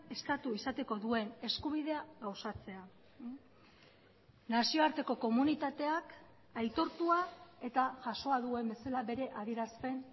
estatu izateko duen eskubidea gauzatzea nazioarteko komunitateak aitortua eta jasoa duen bezala bere adierazpen